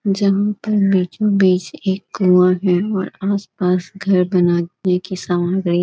जहां पर बीचो-बीच एक कुआ है और आस-पास घर बनाने की सामग्री।